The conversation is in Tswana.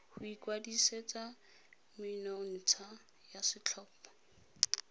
go ikwadisetsa menontsha ya setlhopha